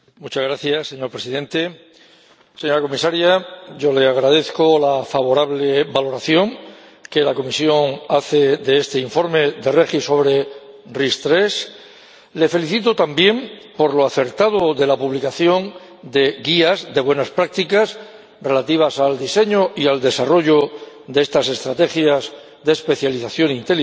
Señor Presidente, señora Comisaria, yo le agradezco la favorable valoración que la Comisión hace de este informe de REGI sobre las RIS3. Le felicito, también, por lo acertado de la publicación de guías de buenas prácticas relativas al diseño y al desarrollo de estas estrategias de especialización inteligente